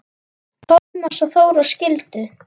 Tómas og Þóra skildu.